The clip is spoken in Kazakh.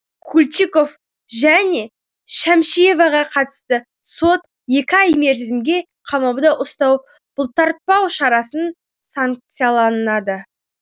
кульчиков және шәмшиеваға қатысты сот екі ай мерзімге қамауда ұстау бұлтартпау шарасын санкцияланады